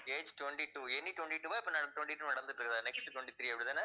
age twenty-two twenty-two வா இப்ப ந~ twenty-two நடந்துட்டு இருக்குதா next twenty-three அப்படித்தானே?